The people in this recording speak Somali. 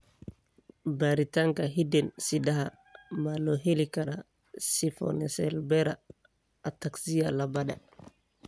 Baaritaanka hidde-sidaha ma loo heli karaa spinocerebellar ataxia labaad?